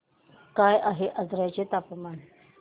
काय आहे आजर्याचे तापमान